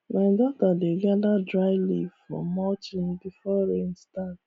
my daughter dey gather dry leaf for mulching before rain start